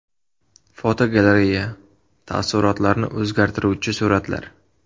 Fotogalereya: Taassurotlarni o‘zgartiruvchi suratlar.